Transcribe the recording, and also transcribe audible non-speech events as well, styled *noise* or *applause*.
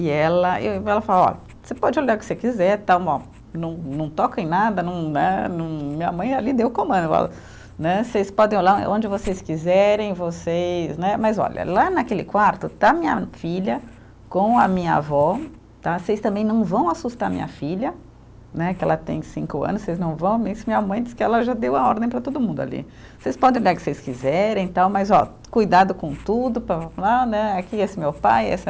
E ela *unintelligible* ela fala, ó, você pode olhar o que você quiser tal ó, não não toquem nada, não né, não, minha mãe ali deu o comando, *unintelligible* né vocês podem olhar onde vocês quiserem, vocês né. Mas olha, lá naquele quarto está minha filha com a minha avó tá? Vocês também não vão assustar minha filha né, que ela tem cinco ano, vocês não vão, nisso minha mãe disse que ela já deu a ordem para todo mundo ali, vocês podem olhar o que vocês quiserem tal, mas ó, cuidado com tudo, *unintelligible* né aqui esse meu pai, essa